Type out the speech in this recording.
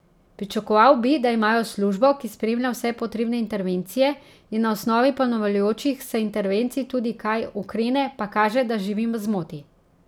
Pričakoval bi, da imajo službo, ki spremlja vse potrebne intervencije, in na osnovi ponavljajočih se intervencij tudi kaj ukrene, pa kaže, da živim v zmoti.